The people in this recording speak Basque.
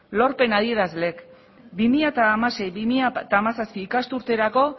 lorpen adierazleak bi mila hamasei bi mila hamazazpi ikasturterako